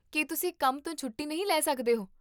ਕੀ ਤੁਸੀਂ ਕੰਮ ਤੋਂ ਛੁੱਟੀ ਨਹੀਂ ਲੈ ਸਕਦੇ ਹੋ?